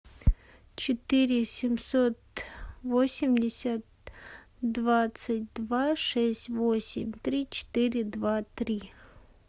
четыре семьсот восемьдесят двадцать два шесть восемь три четыре два три